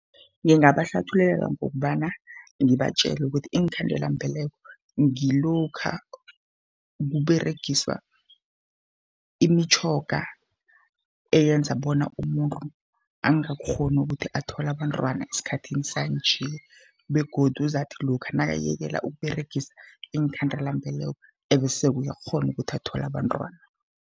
Ngingabahlathululela ngokobana ngibatjele ukuthi iinkhandelambeleko, ngilokha kuberegiswa imitjhoga eyenza bona umuntu angakghoni ukuthi athole abantwana esikhathini sanje. Begodu uzatkuhi lokha nakayekela ukuberegisa iinkhandelambeleko, bese-ke uyakghona ukuthi athole abantwana.